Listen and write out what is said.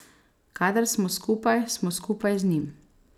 Kadar smo skupaj, smo skupaj z njim.